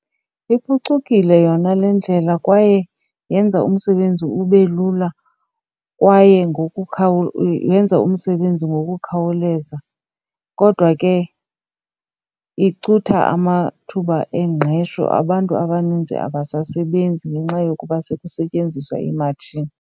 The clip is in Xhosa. Iphucukile yona le ndlela kwaye yenza umsebenzi ube lula, kwaye yenza umsebenzi ngokukhawuleza. Kodwa ke icutha amathuba engqesho. Abantu abaninzi abasebenzi ngenxa yokuba sekukusetyenziswa iimatshini.